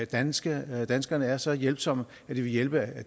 danskerne er danskerne er så hjælpsomme at de vil hjælpe